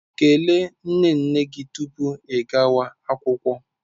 Kelee nne nne gị tupu ị gawa akwụkwọ.